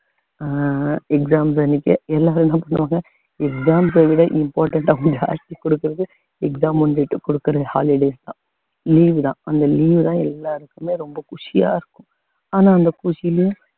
அஹ் exam வந்துட்டு என்ன exams அ விட important கொடுக்கிறது exam முந்திட்டு கொடுக்கிறது holidays தான் leave தான் அந்த leave தான் எல்லாருக்குமே ரொம்ப குஷியா இருக்கும் ஆனா அந்த குஷியிலே